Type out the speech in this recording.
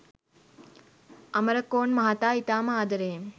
අමරකෝන් මහතා ඉතාම ආදරෙයෙන්